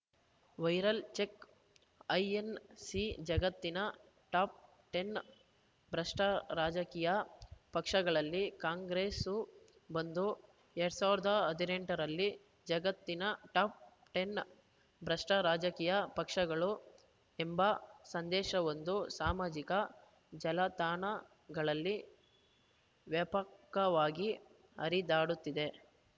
viral check INC ಜಗತ್ತಿನ top ಹತ್ತು ಭ್ರಷ್ಟರಾಜಕೀಯ ಪಕ್ಷಗಳಲ್ಲಿ ಕಾಂಗ್ರೆಸ್ಸೂ ಬಂದು ಎರಡ್ ಸಾವಿರದ ಹದಿನೆಂಟ ರಲ್ಲಿ ಜಗತ್ತಿನ ಟಾಪ್‌ ಟೆನ್ ಭ್ರಷ್ಟರಾಜಕೀಯ ಪಕ್ಷಗಳು ಎಂಬ ಸಂದೇಶವೊಂದು ಸಾಮಾಜಿಕ ಜಲತಾಣಗಳಲ್ಲಿ ವ್ಯಾಪಕವಾಗಿ ಹರಿದಾಡುತ್ತಿದೆ